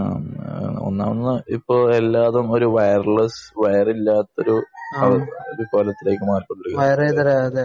ഒന്നാമത് ഇപ്പോ എല്ലാവരും വയർലെസ്സ് വയർ ഇല്ലാത്ത ഒരു ഇതിലേക്ക് മാറി